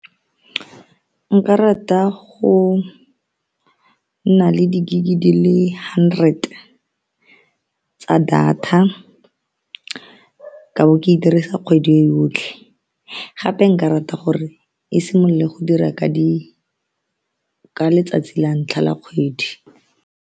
Nka rata go nna le di gig di le hundred tsa data ka bo ke e dirisa kgwedi e yotlhe, gape nka rata gore e simolole go dira ka di ka letsatsi la ntlha la kgwedi.